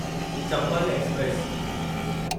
Chambal express